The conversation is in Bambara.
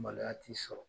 Maloya t'i sɔrɔ